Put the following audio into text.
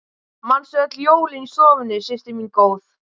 Manstu öll jólin í stofunni systir mín góð.